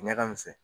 Ɲaga misɛn